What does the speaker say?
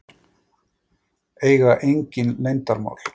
Eiga engin leyndarmál.